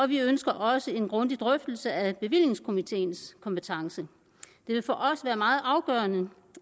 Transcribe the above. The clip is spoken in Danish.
vi ønsker også en grundig drøftelse af bevillingskomiteens kompetence det vil for os være meget afgørende